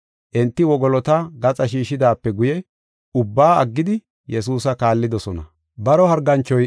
Enti wogolota gaxa shiishidaape guye ubbaa aggidi Yesuusa kaallidosona.